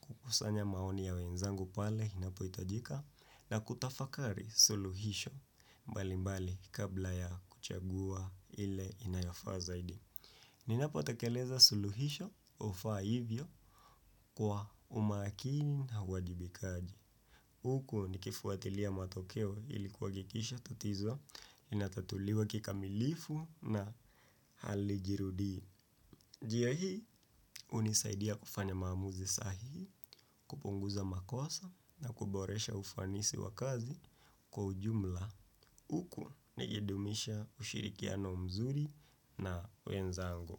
kukusanya maoni ya wenzangu pale inapoitajika na kutafakari suluhisho. Mbali mbali kabla ya kuchagua ile inayafaa zaidi. Ninapo takeleza suluhisho ufa hivyo kwa umakini na uajibikaji. Uku nikifuatilia matokeo ili kuhakikisha tatizo inatatuliwa kikamilifu na halijirudii. Jia hii unisaidia kufanya maamuzi sahihi kupunguza makosa na kuboresha ufanisi wa kazi kwa ujumla. Uku nikidumisha ushirikiano mzuri na wenzangu.